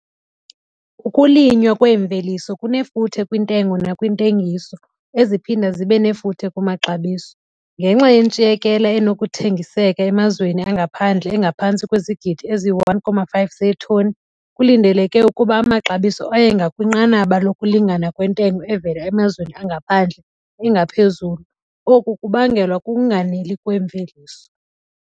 Ukulinywa kweemveliso kunefuthe kwintengo nakwintengiso, eziphinda zibe nefuthe kumaxabiso. Ngenxa yentshiyekela enokuthengiseka emazweni angaphandle engaphantsi kwezigidi eziyi-1,5 zeetoni, kulindeleke ukuba amaxabiso aye ngakwinqanaba lokulingana kwentengo evela emazweni angaphandle, engaphezulu, oku kubangelwa kukunganeli kweemveliso.